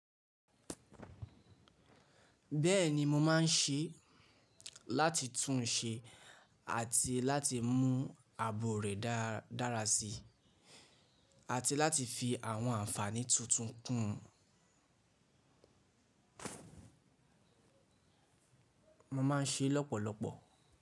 Bẹ́ẹ̀ni mo máa ń ṣe láti tún un ṣe àti láti mú abo rẹ̀ dára síi àti láti fi àwọn àǹfààní tuntun kún un. Mo máa ń ṣe lọ́pọ̀lọpọ̀.